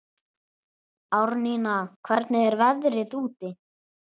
Árnína, hvernig er veðrið úti?